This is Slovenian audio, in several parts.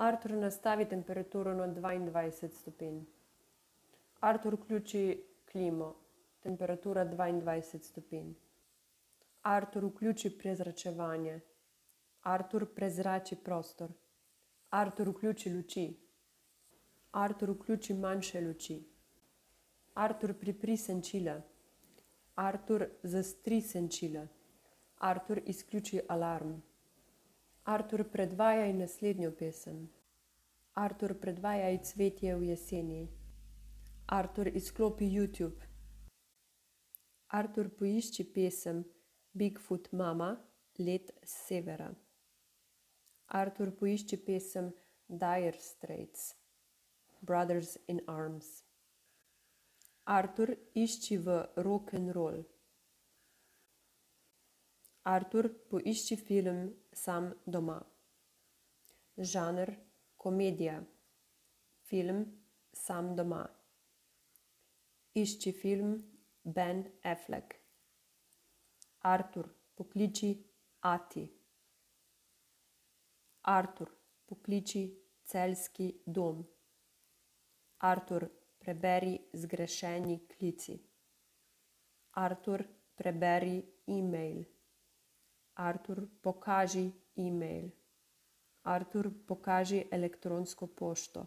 Artur, nastavi temperaturo na dvaindvajset stopinj. Artur, vključi klimo, temperatura dvaindvajset stopinj. Artur, vključi prezračevanje. Artur, prezrači prostor. Artur, vključi luči. Artur, vključi manjše luči. Artur, pripri senčila. Artur, zastri senčila. Artur, izključi alarm. Artur, predvajaj naslednjo pesem. Artur, predvajaj Cvetje v jeseni. Artur, izklopi Youtube. Artur, poišči pesem Big foot mama, Led s severa. Artur, poišči pesem Dire straits, Brothers in arms. Artur, išči v rokenrol. Artur, poišči film Sam doma, žanr komedija. Film Sam doma. Išči film Ben Affleck. Artur, pokliči ati. Artur, pokliči Celjski dom. Artur, preberi zgrešeni klici. Artur, preberi email. Artur, pokaži email. Artur, pokaži elektronsko pošto.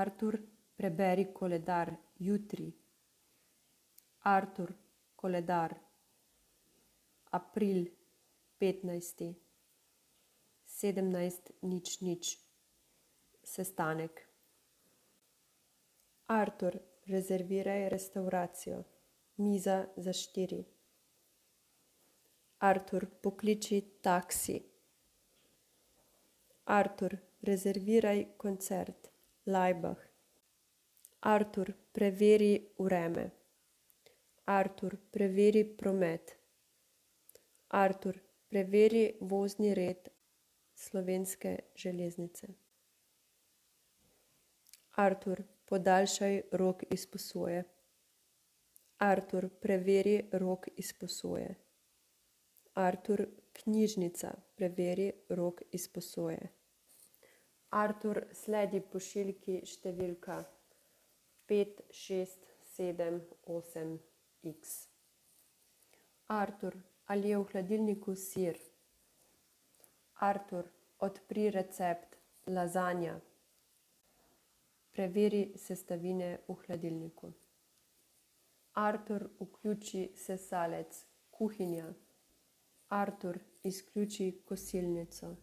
Artur, preberi koledar jutri. Artur, koledar april petnajsti sedemnajst, nič, nič sestanek. Artur, rezerviraj restavracijo. Miza za štiri. Artur, pokliči taksi. Artur, rezerviraj koncert Laibach. Artur, preveri vreme. Artur, preveri promet. Artur, preveri vozni red Slovenske železnice. Artur, podaljšaj rok izposoje. Artur, preveri rok izposoje. Artur, knjižnica, preveri rok izposoje. Artur, sledi pošiljki številka pet, šest, sedem, osem iks. Artur, ali je v hladilniku sir? Artur, odpri recept lazanja. Preveri sestavine v hladilniku. Artur, vključi sesalec, kuhinja. Artur, izključi kosilnico.